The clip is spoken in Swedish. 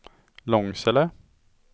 Långsele